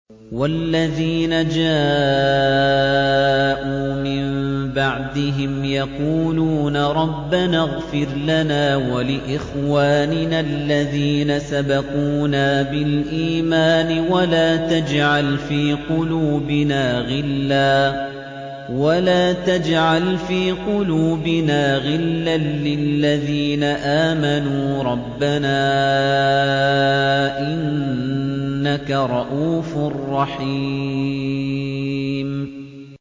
وَالَّذِينَ جَاءُوا مِن بَعْدِهِمْ يَقُولُونَ رَبَّنَا اغْفِرْ لَنَا وَلِإِخْوَانِنَا الَّذِينَ سَبَقُونَا بِالْإِيمَانِ وَلَا تَجْعَلْ فِي قُلُوبِنَا غِلًّا لِّلَّذِينَ آمَنُوا رَبَّنَا إِنَّكَ رَءُوفٌ رَّحِيمٌ